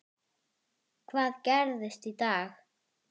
Karl í brúnni ennþá er.